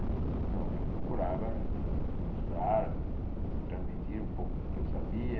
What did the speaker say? Então eu procurava mostrar, transmitir um pouco do que eu sabia,